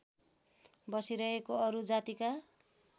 बसिरहेको अरू जातिका